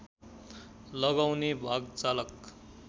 लगाउने भाग चालक